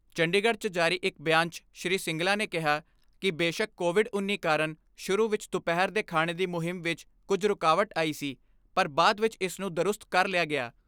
ਚੰਡੀਗੜ੍ਹ 'ਚ ਜਾਰੀ ਇਕ ਬਿਆਨ 'ਚ ਸ੍ਰੀ ਸਿੰਗਲਾ ਨੇ ਕਿਹਾ ਕਿ ਬੇਸ਼ੱਕ ਕੋਵਿਡ ਉੱਨੀ ਕਾਰਨ ਸ਼ੁਰੂ ਵਿਚ ਦੁਪਹਿਰ ਦੇ ਖਾਣੇ ਦੀ ਮੁਹਿੰਮ ਵਿਚ ਕੁਝ ਰੁਕਾਵਟ ਆਈ ਸੀ ਪਰ ਬਾਅਦ ਵਿਚ ਇਸ ਨੂੰ ਦਰੁਸਤ ਕਰ ਲਿਆ ਗਿਆ।